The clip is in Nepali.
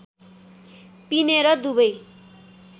पिने र दुबै